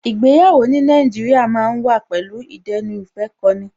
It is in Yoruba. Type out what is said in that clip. Ìgbéyàwó ní Nàìjíríà ma ń wà pẹ̀lú ìdẹ́nuìfẹ́kọni